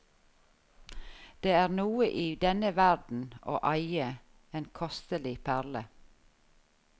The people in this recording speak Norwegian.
Det er noe i denne verden å eie en kostelig perle.